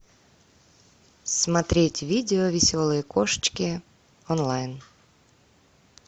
смотреть видео веселые кошечки онлайн